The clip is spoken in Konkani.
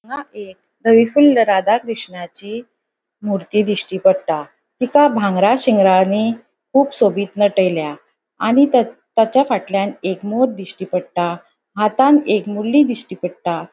हांगा एक दविफुल्ल राधा कृष्णाची मूर्ती दिश्टी पट्टा तिका भांगरा शिंगरानी कुब सोबित नटयला आणि त तेज्या फाटल्यान एक मोर दिश्टी पट्टा हातात एक मुरली दिश्टी पट्टा.